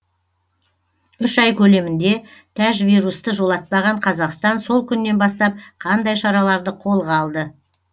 үш ай көлемінде тәжвирусты жолатпаған қазақстан сол күннен бастап қандай шараларды қолға алды